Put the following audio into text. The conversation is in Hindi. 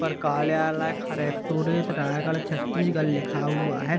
कार्यालय कलेक्टरेड रायगढ़ छत्तीसगढ़ लिखा हुआ है ।